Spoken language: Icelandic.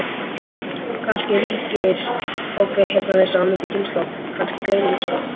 Kannski ríkir ákveðið heyrnarleysi á milli kynslóða, kannski gleymska.